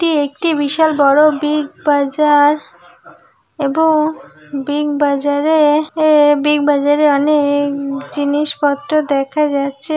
এটি একটি বিশাল বড় বিগ বাজার এবংবিগ বাজারে-এ-এ বিগ বাজারে-এ অনেক জিনিসপত্র দেখা যাচ্ছে।